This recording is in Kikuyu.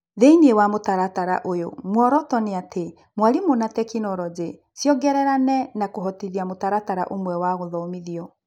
Thĩinĩ wa mũtaratara ũyũ, muoroto nĩ atĩ mwarimũ na tekinoronjĩ ciongererane na kũhotithia mũtaratara ũmwe wa gũthomithio.